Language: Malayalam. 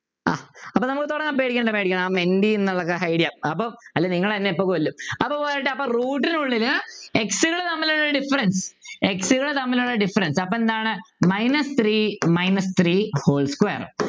ആഹ് അപ്പൊ നമുക്ക് തുടങ്ങാം പേടിക്കേണ്ട പേടിക്കേണ്ട നമുക്ക് Hide ചെയ്യാം അപ്പോൾ അല്ലേ നിങ്ങൾ എന്നെ ഇപ്പോ കൊല്ലും അപ്പൊ പോയിട്ടപ്പോ root നുള്ളിൽ X കൾ തമ്മിലുള്ള DifferenceX കൾ തമ്മിലുള്ള Difference അപ്പൊ എന്താണ് Minus three minus three whole square